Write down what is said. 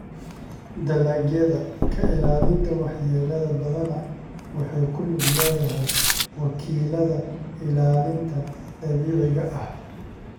Dalagyada ka ilaalinta waxyeellada badanaa waxay ku lug leedahay wakiilada ilaalinta dabiiciga ah.